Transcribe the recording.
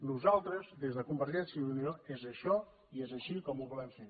nosaltres des convergència i unió és això i és així com ho volem fer